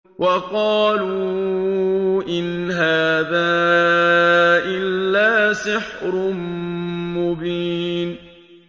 وَقَالُوا إِنْ هَٰذَا إِلَّا سِحْرٌ مُّبِينٌ